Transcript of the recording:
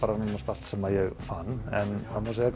allt sem ég fann en það má segja